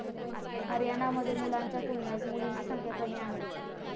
हरियाणामध्ये मुलांच्या तुलनेत मुलींची संख्या कमी आहे.